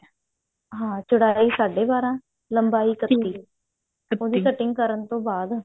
ਹਾਂ ਚੜਾਈ ਸਾਢੇ ਬਾਰਾਂ ਲੰਬਾਈ ਉਹਦੀ cutting ਕਰਨ ਤੋਂ ਬਾਅਦ